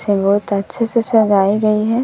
ये बहुत अच्छे से सजाई गई है।